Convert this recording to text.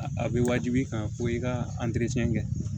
A bɛ waajibi kan fo i ka kɛ